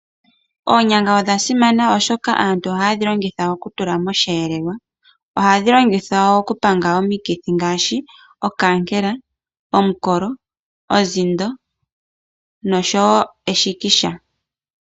Oonyanga odha simana oshoka aantu ohaa dhi longitha okutula mosheelelwa. Ohadhi longithwa woo okupanga omikithi ngaashi okaankela, omikolo, ozindo noshowo eshikisha.